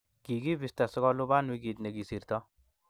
kikibisto si kuluban wikii ne kosirto